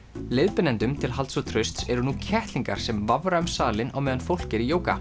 leiðbeinendum til halds og trausts eru nú kettlingar sem vafra um salinn á meðan fólk er í jóga